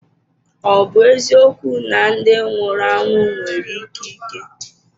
Ọ bụ eziokwu na ndị nwụrụ anwụ nwere ikike?